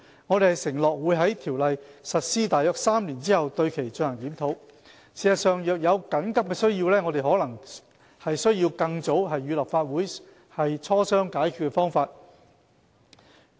我們承諾會在《條例》實施約3年後對其進行檢討。事實上，若有緊急需要，我們可能需要更早與立法會磋商解決方法。